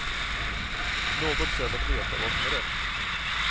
Något sätt att veta vad som är rätt.